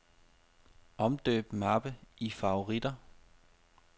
Omdøb mappe i favoritter.